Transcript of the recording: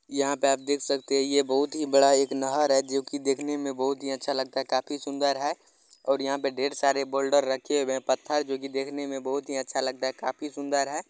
यहाँ पे आप देख सकते हैं ये बहुत ही बड़ा एक नहर है जो कि देखने में बहुत ही अच्छा लगता। काफी सुंदर है और यहाँ पे ढ़ेर सारे बोल्डर रखे हुए हैं पत्थर जो कि देखने में बहुत ही अच्छा लगता है। काफी सुंदर है।